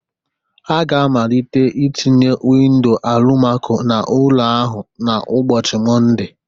Ha ga-amalite ị tinye windoo Alụmakoo n'ụlọ ahụ n'ụbọchị Mọnde